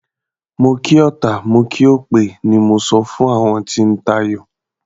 Mo kí ọta, mo kí òpè o, ni mo sọ fún àwọn tí ń tayò.